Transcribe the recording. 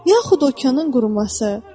Yaxud okeanın quruması.